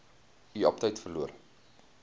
u aptyt verloor